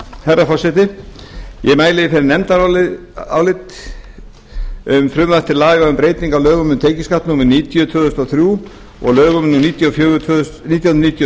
herra forseti ég mæli fyrir nefndaráliti um frumvarp til laga um breytingu á lögum um tekjuskatt númer níutíu tvö þúsund og þrjú og lögum númer níutíu og fjögur nítján hundruð níutíu og